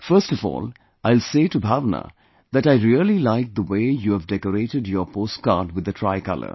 First of all, I will say to Bhavna that I really liked the way you have decorated your postcard with the Tricolor